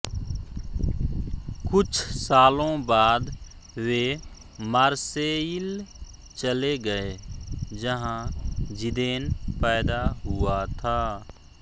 कुछ सालों बाद वे मार्सेयिल चले गए जहा जिदेन पैदा हुआ था